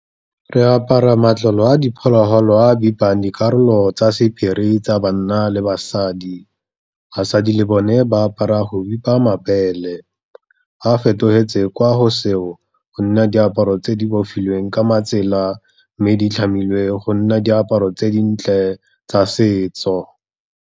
Re apara matlalo a diphologolo a bipang dikarolo tsa sephiri tsa banna le basadi. Basadi le bone ba apara go bipa mabele, ba fetogetse kwa go seo, gonne diaparo tse dibofilweng ka matsela, mme di tlhamilwe go nna diaparo tse dintle tsa setso.